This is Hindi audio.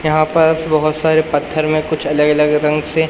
यहां पास बहोत सारे पत्थर में कुछ अलग अलग रंग से--